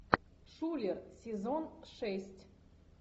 шулер сезон шесть